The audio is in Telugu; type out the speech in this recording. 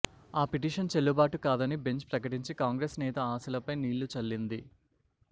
ఆ పిటిషన్ చెల్లుబాటు కాదని బెంచ్ ప్రకటించి కాంగ్రెస్ నేత ఆశలపై నీళ్లు చల్లింది